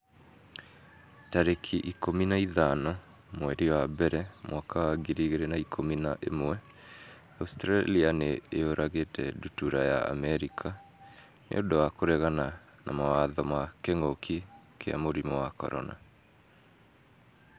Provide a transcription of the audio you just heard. tarĩki ikũmi na ithano mweri wa mbere mwaka wa ngiri igĩrĩ na ikũmi na ĩmweAustralia nĩ yũragĩte ndutura ya Amerika 'nĩ ũndũ wa kũregana mawatho ma kĩngũki kia mũrimũ wa CORONA